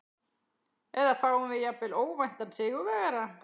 Eða fáum við jafnvel óvæntan sigurvegara?